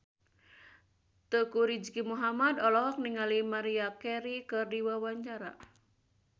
Teuku Rizky Muhammad olohok ningali Maria Carey keur diwawancara